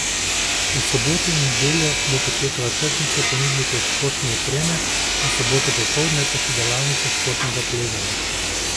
V soboto in nedeljo bo potekala tržnica ponudnikov športne opreme, v soboto popoldne pa še delavnica športnega plezanja.